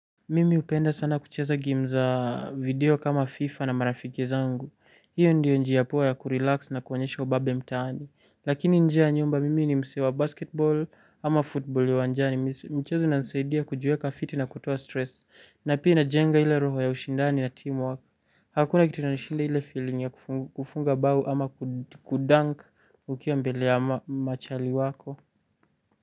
Mimi hupenda sana kucheza game za video kama fifa na marafiki zangu, hiyo ndiyo njia poa ya kurelax na kuonyesha ubabe mtaani, lakini nje ya nyumba mimi ni msee wa basketbol ama futbool ya uanjani, mchezo inansaidia kujieka fiti na kutoa stress, na pia inajenga ile roho ya ushindani na team wako. Hakuna kitu inanishinda ile feeling ya kufunga bao ama kudank ukiwa mbele ya machali wako.